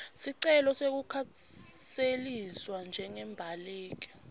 sicelo sekukhuseliswa njengembaleki